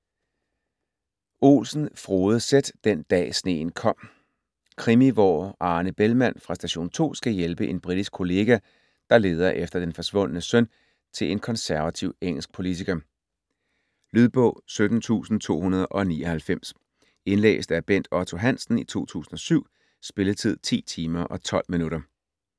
Olsen, Frode Z.: Den dag sneen kom Krimi, hvor Arne Bellmann fra Station 2 skal hjælpe en britisk kollega, der leder efter den forsvundne søn til en konservativ engelsk politiker. Lydbog 17299 Indlæst af Bent Otto Hansen, 2007. Spilletid: 10 timer, 12 minutter.